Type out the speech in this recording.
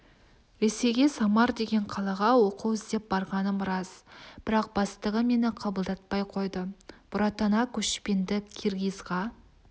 ресейге самар деген қалаға оқу іздеп барғаным рас бірақ бастығы мені қабылдатпай қойды бұратана көшпенді киргизға